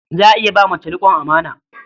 Za a iya ba mace riƙon amana.